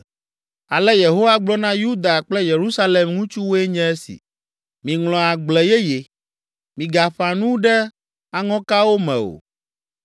Ale Yehowa gblɔ na Yuda kple Yerusalem ŋutsuwoe nye esi: “Miŋlɔ agble yeye, migaƒã nu ɖe aŋɔkawo me o.